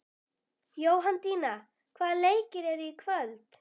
Jóhanndína, hvaða leikir eru í kvöld?